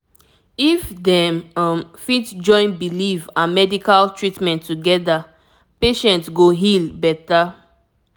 if dem um fit join belief and medical treatment together patient go heal better